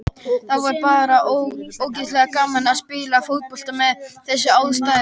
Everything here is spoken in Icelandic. Það var bara ógeðslega gaman að spila fótbolta við þessar aðstæður.